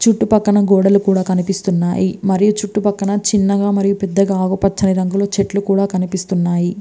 చుట్టు పక్కన గోడలు కూడా కినిపిస్తున్నాయి. మరయు చుట్టు పక్కన గోడలు అండ్ ఆకు పచ్చని చెట్లు కుడా కనిపిస్తున్నాయి.